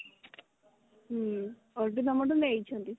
ହଁ ସବୁତ ତମଠୁ ନେଇଛନ୍ତି